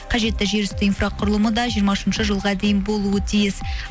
қажетті жер үсті инфрақұрылымы да жиырма үшінші жылға дейін болуы тиіс